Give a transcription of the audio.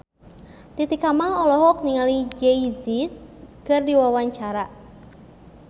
Titi Kamal olohok ningali Jay Z keur diwawancara